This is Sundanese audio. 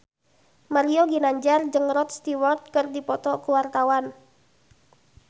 Mario Ginanjar jeung Rod Stewart keur dipoto ku wartawan